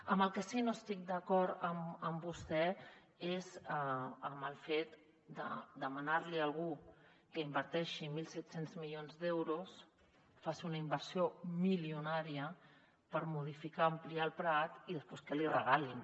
en el que sí que no estic d’acord amb vostè és en el fet de demanar·li a algú que inverteixi mil set cents milions d’euros que faci una inversió milionària per modificar o ampliar el prat i després que l’hi regalin